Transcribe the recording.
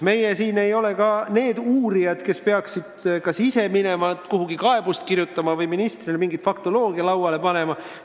Meie siin ei ole ka uurijad, kes peaksid kas ise minema kuhugi kaebust kirjutama või ministrile mingi faktoloogia lauale panema.